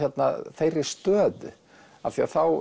þeirri stöðu af því að þá